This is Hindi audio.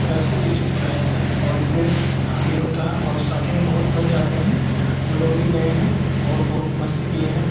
अलग से किसी को बुलाया जाता है और इसमे शादी होता है और शादी मे बहुत मजे आते है हमलोग भी गए है और बहुत मस्ती किये है।